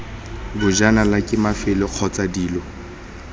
bajanala ke mafelo kgotsa dilo